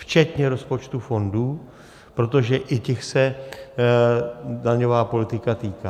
Včetně rozpočtů fondů, protože i těch se daňová politika týká.